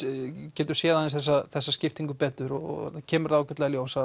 getum séð þessa skiptingu betur og þá kemur það ágætlega í ljós að